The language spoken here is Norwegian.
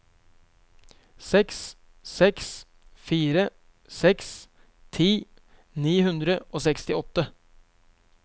seks seks fire seks ti ni hundre og sekstiåtte